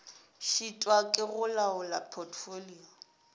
šitwa ke go laola potfolio